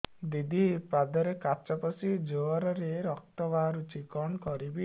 ଦିଦି ପାଦରେ କାଚ ପଶି ଜୋରରେ ରକ୍ତ ବାହାରୁଛି କଣ କରିଵି